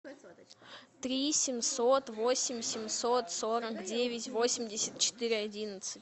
три семьсот восемь семьсот сорок девять восемьдесят четыре одиннадцать